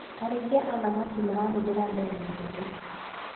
Arĩithia a thamaki marahũthĩra ndemu njerũ.